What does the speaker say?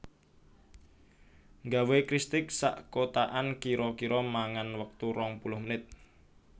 Nggawe kristik sak kotakan kiro kiro mangan wektu rong puluh menit